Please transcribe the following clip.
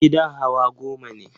Gidan hawa goma ne.